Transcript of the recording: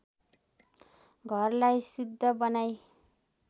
घरलाई शुद्ध बनाई